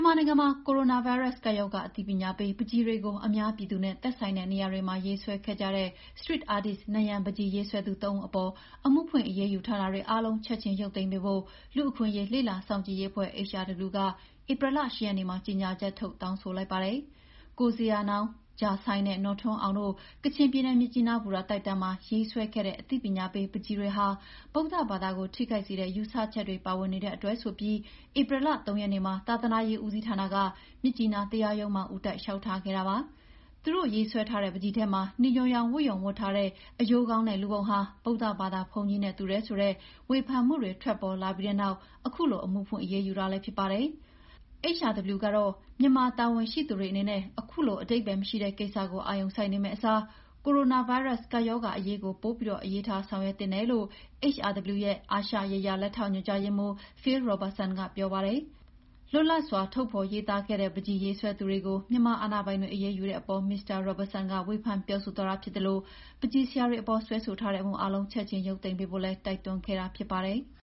မာနိုင်ငံမှာ ကိုရိုနာဗိုင်းရပ်စ် ကပ်ရောဂါ အသိပညာပေး ပန်းချီတွေကို အများပြည်သူနဲ့သက်ဆိုင်တဲ့နေရာမှာ ရေးဆွဲခဲ့ကြတဲ့ Street artist နံရံပန်းချီရေးဆွဲသူ ၃ ဦးအပေါ် အမှုဖွင့်အရေးယူထားတာတွေ အားလုံး ချက်ချင်းရုပ်သိမ်းပေးဖို့ လူ့အခွင့်အရေးလေ့လာစောင့်ကြည့်ရေးအဖွဲ့ HRW က ဧပြီလ ၈ ရက်နေ့မှာ ကြေငြာချက်ထုတ် တောင်းဆိုလိုက်ပါတယ်။ ကိုဇေယျာနောင်း၊ ဂျာဆိုင်းနဲ့ နော်ထွန်းအောင်တို့ ကျင်ချင်ပြည်နယ်၊ မြစ်ကြီးနား ဘူတာတို က်တန်းမှာ ရေးဆွဲခဲ့တဲ့ အသိပညာပေးနံရံပန်းချီတွေဟာ ဗုဒ္ဒဘာသာကို ထိခိုက်စေတဲ့ ယူဆချက်တွေ ပါဝင်နေတဲ့အတွက် ဆိုပြီး ဧပြီလ ၃ ရက်နေ့မှာ သာသနာရေးဦးစီးဌာနက မြစ်ကြီးနား တရားရုံးမှာ ဦးတိုက်လျှောက်ထားခဲ့တာ ဖြစ်ပါတယ်။ သူတို့ရေးထားတဲ့ ပန်းချီထဲမှာ နီညိုရောင် ဝတ်ရုံဝတ်ထားတဲ့ အရိုးခေါင်းနဲ့ လူပုံဟာ ဗုဒ္ဒဘာသာဘုန်းကြီးနဲ့ တူတယ်ဆိုတဲ့ ဝေဖန်မှုတွေ ထွက်ပေါ်လာပြီးတဲ့နောက်ခုလို အမှုဖွင့်အရေးယူထားတာလည်းဖြစ်ပါတယ်။ မြန်မာတာဝန်ရှိသူတွေအနေနဲ့ခုလို အဓိပ္ပာယ်မရှိတဲ့ ကိစ္စကို အာရုံစိုက်နေမယ့်အစား ကိုရိုနာဗိုင်းရပ်စ် ကပ်ရောဂါအရေးကို ပိုပြီး အလေးထား ဆောင်ရွက်သင့်တယ်လို့ HRW အာရှရေးရာလက်ထောက်ညွှန်ကြားရေးမှူး Phil Robertson က ပြောပါတယ်။ ပန်းချီရေးဆွဲသူတွေရဲ့ လွတ်လပ်စွာ ထုတ်ဖော်ရေးသားခဲ့တဲ့ ပန်းချီရေးဆွဲသူတွေကို မြန်မာအာဏာပိုင်တွေ အရေးယူတဲ့အပေါ် မစ္စတာ Robertson က ဝေဖန်ပြောဆိုသွားတာဖြစ်သလို ပန်းချီဆရာတွေအပေါ် စွဲဆိုထားတဲ့ အမှုအားလုံး ချက်ချင်း ရုပ်သိမ်းပေးဖို့ တိုက်တွန်းခဲ့တာလည်းဖြစ်ပါတယ်။